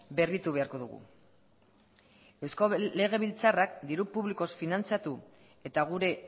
berritu beharko dugu eusko legebiltzarrak diru publikoz finantziatu eta gure